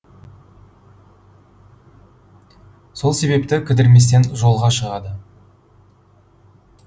сол себепті кідірместен жолға шығады